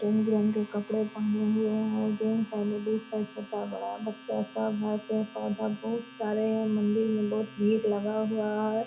रंग-बिरंगे कपड़े पहने हुए हैं। जेंट्स हैं लेडीज हैं छोटा-बड़ा बच्चा सब है। पेड़-पौधा बहुत सारे हैं। मंदिर में बहुत भीड़ लगा हुआ है।